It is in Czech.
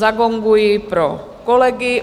Zagonguji pro kolegy.